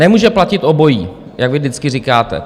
Nemůže platit obojí, jak vy vždycky říkáte.